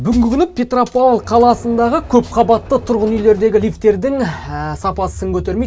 бүгінгі күні петропавл қаласындағы көп қабатты тұрғын үйлердегі лифтердің сапасы сын көтермейді